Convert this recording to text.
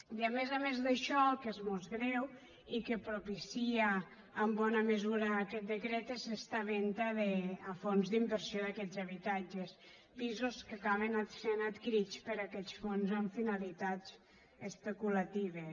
i a més a més d’això el que és més greu i que propicia en bona mesura aquest decret és esta venda a fons d’inversió d’aquests habitatges pisos que acaben sent adquirits per aquests fons amb finalitats especulatives